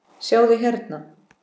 sjáðu, hérna.